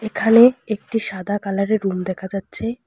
এখানে একটি সাদা কালারে রুম দেখা যাচ্ছে।